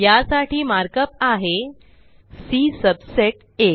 यासाठी मार्कप आहे C subset आ